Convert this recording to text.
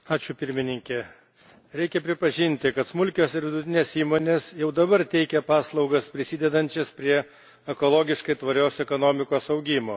Reikia pripažinti, kad smulkios ir vidutinės įmonės jau dabar teikia paslaugas, prisidedančias prie ekologiškai tvarios ekonomikos augimo.